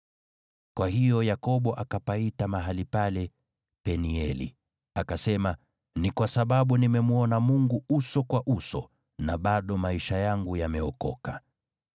Kwa hiyo Yakobo akapaita mahali pale Penieli, akasema, “Ni kwa sababu nimemwona Mungu uso kwa uso na bado maisha yangu yameokoka.”